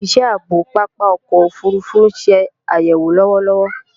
Òsìsẹ́ ààbò pápá ọkọ̀ òfurufú ń se àyèwò lọ́wọ́lọ́wọ́